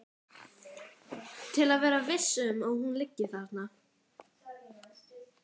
Til að vera viss um að hún liggi þarna.